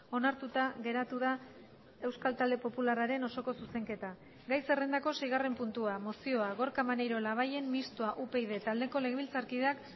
onartuta geratu da euskal talde popularraren osoko zuzenketa gai zerrendako seigarren puntua mozioa gorka maneiro labayen mistoa upyd taldeko legebiltzarkideak